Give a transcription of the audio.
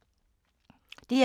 DR1